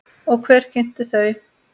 Og hver kynnti þau?